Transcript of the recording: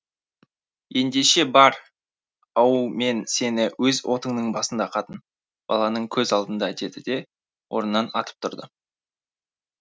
ендеше бар ау мен сені өз отыңның басында қатын балаңның көз алдында деді де орнынан атып тұрды